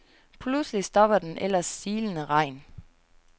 Pludselig stopper den ellers silende regn.